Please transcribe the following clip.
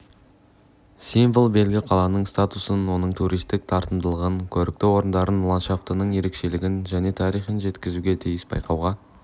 символ белгі қаланың статусын оның туристік тартымдылығын көрікті орындарын ландшафтының ерекшелігін және тарихын жеткізуге тиіс байқауға